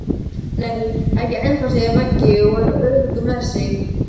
Nei, ekki ennþá segir Raggi og er öruggur með sig.